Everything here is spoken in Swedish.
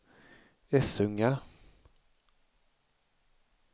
Essunga